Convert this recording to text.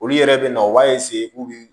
Olu yɛrɛ bɛ na u b'a k'u bɛ